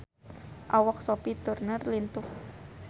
Awak Sophie Turner lintuh